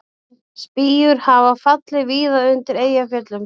Spýjur hafa fallið víða undir Eyjafjöllum